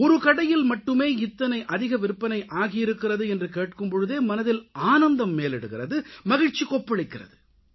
ஒரு கடையில் மட்டுமே இத்தனை அதிக விற்பனை ஆகியிருக்கிறது என்று கேட்கும் பொழுதே மனதில் ஆனந்தம் மேலிடுகிறது மகிழ்ச்சி கொப்பளிக்கிறது